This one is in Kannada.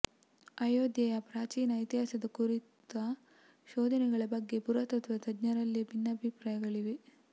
ಅಯೋಧ್ಯೆಯ ಪ್ರಾಚೀನ ಇತಿಹಾಸದ ಕುರಿತ ಶೋಧನೆಗಳ ಬಗ್ಗೆ ಪುರಾತತ್ವ ತಜ್ಞರಲ್ಲೇ ಭಿನ್ನಾಭಿಪ್ರಾಯಗಳಿವೆ